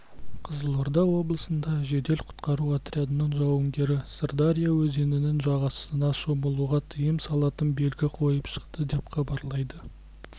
қызылорда облысында жедел-құтқару отрядының жауынгерлері сырдария өзенінің жағасына шомылуға тыйым салатын белгі қойып шықты деп хабарлайды